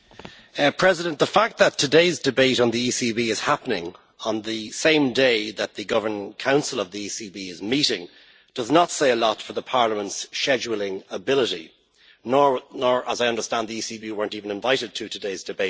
Mr President, the fact that today's debate on the ECB is happening on the same day that the Governing Council of the ECB is meeting does not say a lot for Parliament's scheduling ability, especially as I understand the ECB was not even invited to today's debate.